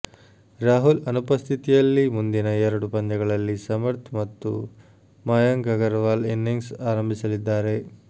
ರಾಹುಲ್ ಅನುಪಸ್ಥಿತಿಯಲ್ಲಿ ಮುಂದಿನ ಎರಡು ಪಂದ್ಯಗಳಲ್ಲಿ ಸಮರ್ಥ್ ಮತ್ತು ಮಯಂಕ್ ಅಗರವಾಲ್ ಇನಿಂಗ್ಸ್ ಆರಂಭಿಸಲಿದ್ದಾರೆ